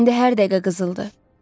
İndi hər dəqiqə qızıldı.